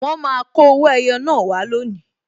Wọn máa kọ owó ẹyọ naa wá lónìí